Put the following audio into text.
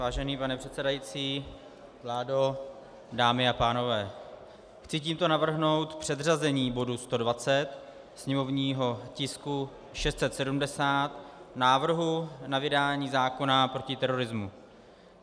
Vážený pane předsedající, vládo, dámy a pánové, chci tímto navrhnout předřazení bodu 120, sněmovního tisku 670, návrhu na vydání zákona proti terorismu.